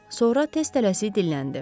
Sonra tez tələsik dilləndi.